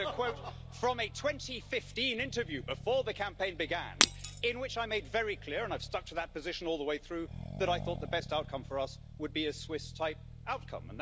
You'll hear a quote from a 2015 interview, before the campaign began, in which I made very clear and I've stuck to that position all the way through that I thought the best outcome for us would be a Swiss type outcome.